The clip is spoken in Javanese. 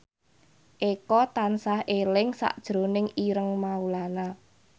Eko tansah eling sakjroning Ireng Maulana